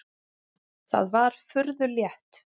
Það var furðu létt.